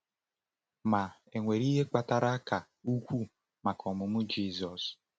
Ma, e nwere ihe kpatara ka ukwuu maka ọmụmụ Jizọs.